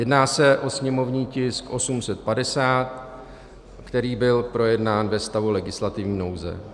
Jedná se o sněmovní tisk 850, který byl projednán ve stavu legislativní nouze.